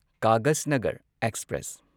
Kaghaznagar express